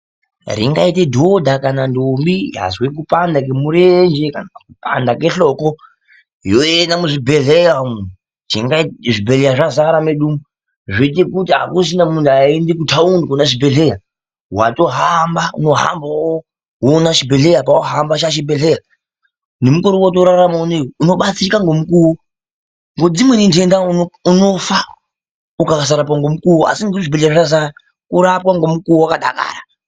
Ringaita dhodha kana ndombi yazwa kupanda kwemurenje kana kupanda kwehloko yoenda muzvibhedhleya umu. Zvibhedhleya zvazara medu umu zvoita kuti akuchina muntu uchaenda kutaundi koona zvibhedhleya. Watohamba, unohambawo woona chibhedhleya apa. Wohamba chaachibhendleya. Nemukore watoorarama unowu unobatsirika ngemukuwo ngekuti dzimweni nhenda unofa ukasarapwa ngemukuwo. Asi ngekuti zvibhedhleya zvazara unorapwa ngemukuwo wakadakara.